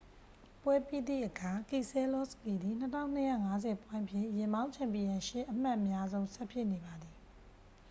ပွဲပြီးသည့်အခါ ကီဆဲလောစကီသည် 2250 ပွိုင့်ဖြင့် ယာဉ်မောင်း ချန်ပီယံရှစ် အမှတ်အများဆုံး ဆက်ဖြစ်နေပါသည်